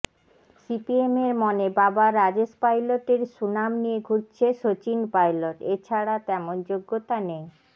সিপিএমের মনে বাবা রাজেশ পাইলটের সুনাম নিয়ে ঘুরছে সচিন পাইলট এছাড়া তেমন যোগ্যতা নেই